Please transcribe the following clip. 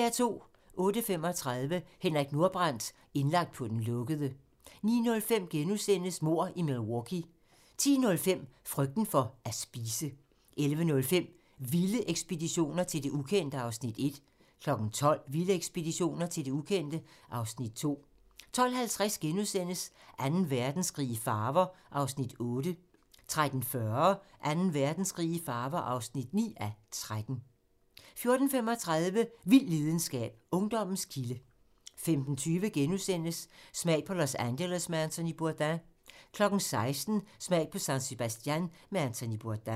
08:35: Henrik Nordbrandt - indlagt på den lukkede 09:05: Mord i Milwaukee * 10:05: Frygten for at spise 11:05: Vilde ekspeditioner til det ukendte (Afs. 1) 12:00: Vilde ekspeditioner til det ukendte (Afs. 2) 12:50: Anden Verdenskrig i farver (8:13)* 13:40: Anden Verdenskrig i farver (9:13) 14:35: Vild videnskab: Ungdommens kilde 15:20: Smag på Los Angeles med Anthony Bourdain * 16:00: Smag på San Sebastian med Anthony Bourdain